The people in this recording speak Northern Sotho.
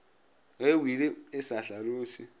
ge wili e sa hlaloše